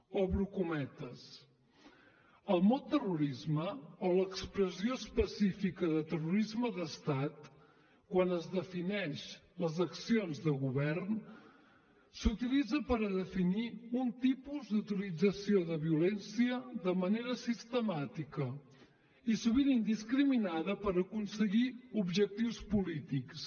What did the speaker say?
obro cometes el mot terrorisme o l’expressió específica de terrorisme d’estat quan es defineixen les accions de govern s’utilitza per a definir un tipus d’utilització de violència de manera sistemàtica i sovint indiscriminada per aconseguir objectius polítics